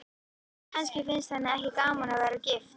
Kannski finnst henni ekki gaman að vera gift.